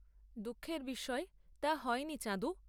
দুঃখের বিষয়, তা হয়নি, চাঁদু।